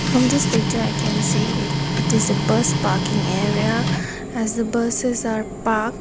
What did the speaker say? from this picture i can see it it is a bus parking area as the buses are park.